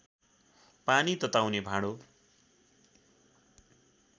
पानी तताउने भाँडो